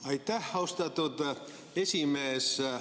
Aitäh, austatud esimees!